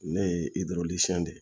Ne ye de ye